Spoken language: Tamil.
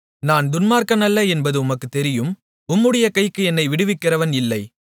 நான் துன்மார்க்கன் அல்ல என்பது உமக்குத் தெரியும் உம்முடைய கைக்கு என்னை விடுவிக்கிறவன் இல்லை